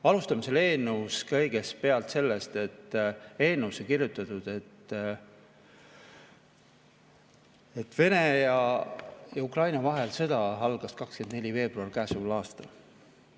Alustame selle eelnõu puhul kõigepealt sellest, et eelnõusse on kirjutatud, et Venemaa ja Ukraina vahel algas sõda 24. veebruaril käesoleval aastal.